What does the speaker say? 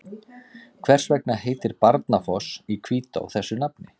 Hvers vegna heitir Barnafoss í Hvítá þessu nafni?